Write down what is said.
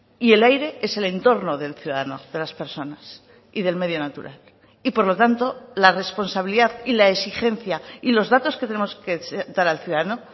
y el aire es el entorno del ciudadano de las personas y del medio natural y por lo tanto la responsabilidad y la exigencia y los datos que tenemos que dar al ciudadano